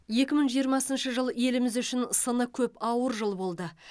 екі мың жиырмасыншы жыл еліміз үшін сыны көп ауыр жыл болды